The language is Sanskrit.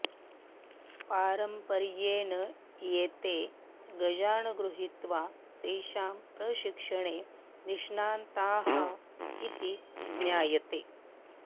पारम्पर्येण एते गजान् गृहीत्वा तेषां प्रशिक्षणे निष्णाताः इति ज्ञायते